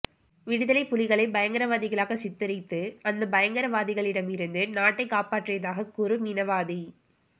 விடுதலைப் புலிகளைப் பயங்கரவாதிகளாகச் சித்திரித்து அந்தப் பயங்கரவாதிகளிடமிருந்து நாட்டைக் காப்பாற்றியதாகக் கூறும் இனவாதி